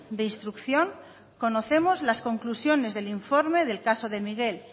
de instrucción conocemos las conclusiones del informe del caso de miguel